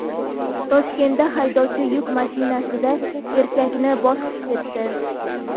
Toshkentda haydovchi yuk mashinasida erkakni bosib ketdi.